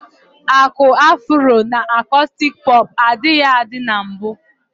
Aku afuro na akostik popu adịghị adị na mbu.